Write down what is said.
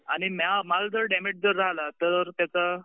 आणि माल जर डॅमेज झाला तर